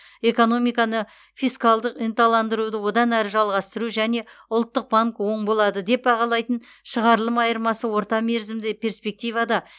экономиканы фискалдық ынталандыруды одан әрі жалғастыру және ұлттық банк оң болады деп бағалайтын шығарылым айырмасы орта мерзімді перспективада